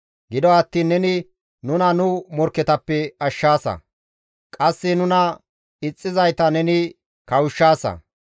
Gido attiin neni nuna nu morkketappe ashshaasa; qasse nuna ixxizayta neni kawushshaasa.